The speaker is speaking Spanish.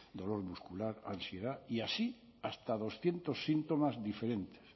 dolor muscular ansiedad y así hasta doscientos síntomas diferentes